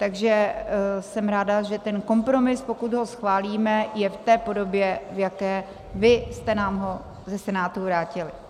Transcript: Takže jsem ráda, že ten kompromis, pokud ho schválíme, je v té podobě, v jaké vy jste nám ho ze Senátu vrátili.